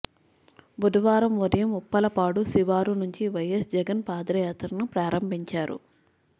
బుధవారం ఉదయం ఉప్పలపాడు శివారు నుంచి వైఎస్ జగన్ పాదయాత్రను ప్రారంభించారు